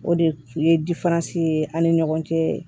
O de ye ye an ni ɲɔgɔn cɛ